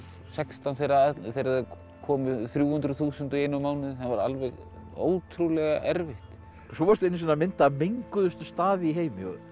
sextán þegar það komu þrjú hundruð þúsund í einum mánuði það var alveg ótrúlega erfitt svo varstu einu sinni að mynda menguðustu staði í heimi